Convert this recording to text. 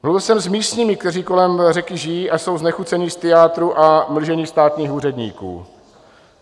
Mluvil jsem s místními, kteří kolem řeky žijí a jsou znechuceni z tyjátru a mlžení státních úředníků.